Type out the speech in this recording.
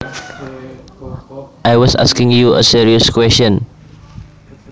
I was asking you a serious question